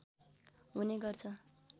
हुने गर्छ